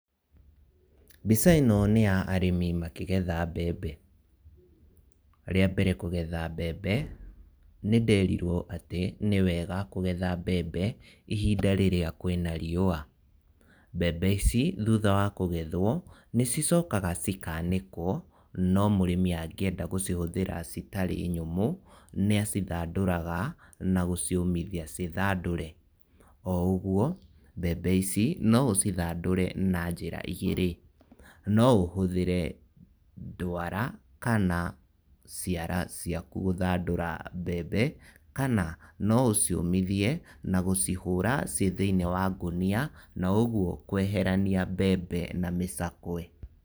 Mbica ĩno nĩ ya arĩmi makĩgetha mbembe. Rĩa mbere kũgetha mbembe, nĩnderirwo atĩ nĩ wega kũgetha mbembe ihinda rĩrĩa kwĩna riũa. Mbembe ici thutha wa kũgethwo, nĩcicokaga cikanĩkwo no mũrĩmi angĩenda gũcihũthĩra citarĩ nyũmũ nĩacithandũraga na gũciũmithia ciĩ thandũre. Oũguo mbembe ici no ũcithandũre na njĩra igĩrĩ. No ũhũthĩre ndwara kana ciara ciaku gũthandũra mbembe, kana no ũciũmithie na gũcihũra ciĩ thĩiniĩ wa ngũnia no ũguo kweherania mbembe na mĩcakwe.